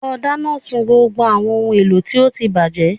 Lọ dáná sun gbogbo àwọn ohun èlò tí ó ti bàjẹ́